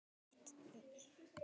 Þeir tímar eru liðnir.